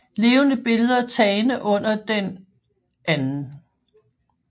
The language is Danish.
Levende billeder tagne under den 2